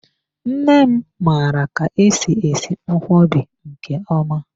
Nne m mara ka-esi esi nkwobi nke ọma.